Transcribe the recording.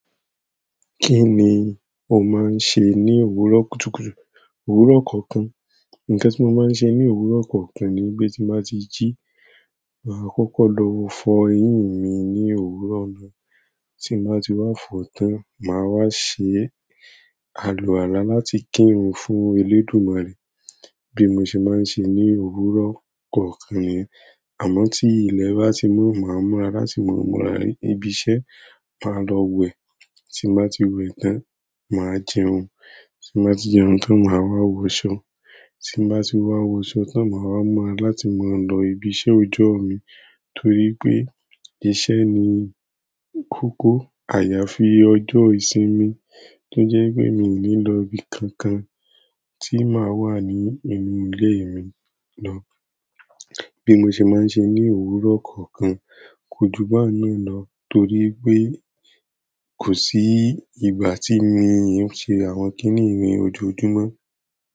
Kí ni o máa ń ṣe ní òwúrọ̀ kùtùkùtù? Òwúrọ̀ kọ̀ọ̀kan. Ǹkan tí mo máa ń ṣe ní òwúrọ̀ kọ̀ọ̀kan ni pé tí mo bá ti jí, máa kọ́kọ́ lọ fọ eyín mi ní òwúrọ̀ náà. Tí mo bá ti wá fọ tán, màá wá ṣe àlùwàla láti kírun fún Elédùmarè bí mo ṣe máa ń ṣe ní òwúrọ̀ kọ̀ọ̀kan nìyẹn. Àmọ́ tí ilẹ̀ bá ti mọ́, màá múra láti múra ibi iṣẹ́, màá lọ wẹ̀. Tí mo bá ti wẹ̀ tán, màá jẹun. Tí mo bá ti jẹun tán, màá wá wọṣọ. Tí mo bá ti wá wọṣọ tán, màá wá múra láti máa lọ ibi iṣẹ́ ọjọ́ mi. Torí pé iṣẹ́ ni kókó àyàfi ọjọ́ ìsinmi tó jẹ́ pé mi ò ní lọ ibi kankan tí màá wà ní inú ilé mi lọ bí mo ṣe máa ń ṣe ní òwúrọ̀ kọ̀ọ̀kan. Kójù báun náà lọ torí pé kò sí ìgbà tí èmi óò ṣe àwọn kiní ni ojoojúmọ́.